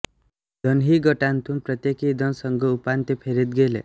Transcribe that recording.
दोन्ही गटांतून प्रत्येकी दोन संघ उपांत्य फेरीत गेले